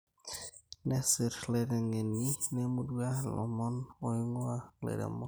Nesir illaitengeni lemurrua ilomon oingu`aa ilairemok